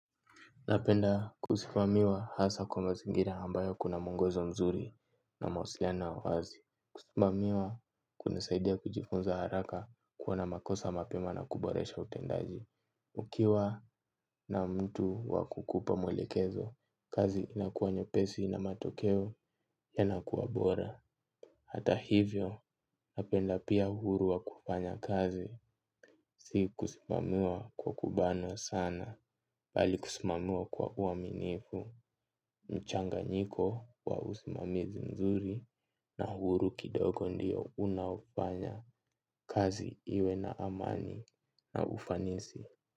Napenda kusimamiwa hasa kwa mazingira ambayo kuna mwongozo mzuri na mahusiano ya wazi. Kusimamiwa kunasaidia kujifunza haraka kuona makosa mapema na kuboresha utendaji. Ukiwa na mtu wakukupa maelekezo. Kazi inakuwa nyepesi na matokeo yanakuwa bora. Hata hivyo, napenda pia uhuru wa kufanya kazi. Si kusimamiwa kwa kubanwa sana. Bali kusimamiwa kwa uaminifu. Mchanganyiko wa usimamizi mzuri na huru kidogo ndio unafanya kazi iwe na amani na ufanisi.